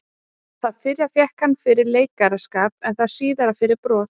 Það fyrra fékk hann fyrir leikaraskap en það síðara fyrir brot.